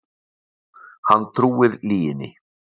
Hann trúir lyginni.